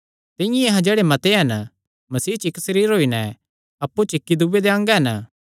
तिंआं ई अहां जेह्ड़े मते हन मसीह च इक्क सरीर होई नैं अप्पु च इक्की दूये दे अंग हन